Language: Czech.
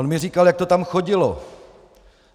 On mi říkal, jak to tam chodilo.